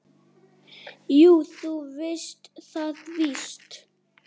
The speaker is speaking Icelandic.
Jú, þú veist það víst.